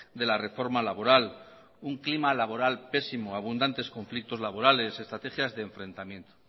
de la reforma laboral un clima laboral pésimo abundantes conflictos laborales estrategias de enfrentamiento